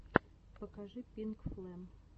покажи пинкфлэм